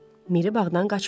Miri bağdan qaçmışdı.